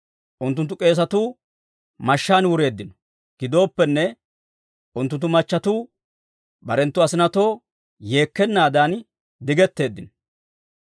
Unttunttu k'eesatuu mashshaan wureeddino. Gidooppenne, unttunttu machchetuu, barenttu asinatoo yeekkenaadan digetteeddino.